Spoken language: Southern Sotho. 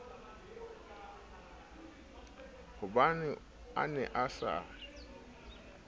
hobane a ne a sa